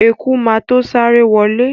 Eku má to sáré wọlé.